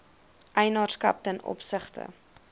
eienaarskap ten opsigte